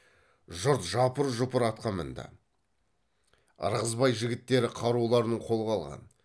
жұрт жапыр жұпыр атқа мінді ырғызбай жігіттері қаруларын қолға алған